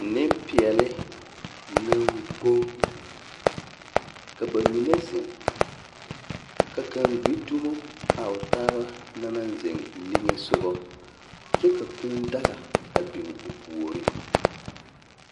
Nempeɛle naŋ gboŋ!, ka ba mine zeŋ, ka kaŋ gbi dumo a o taaba na naŋ zeŋ niŋe sogɔ. Kyɛ ka kūū daga a biŋ o puoriŋ.